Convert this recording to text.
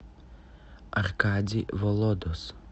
аркадий володос